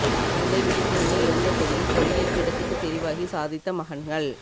தந்தை விழிப்புலனை இழந்த போதிலும் பொறியியல் பீடத்துக்கு தெரிவாகி சாதித்த மகன்கள்